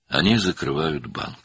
"Onlar bankı bağlayırlar."